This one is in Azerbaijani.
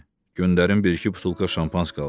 Göndərin bir-iki butulka Şampanski alsın.